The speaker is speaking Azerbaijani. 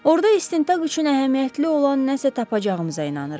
Orada istintaq üçün əhəmiyyətli olan nəsə tapacağımıza inanırıq.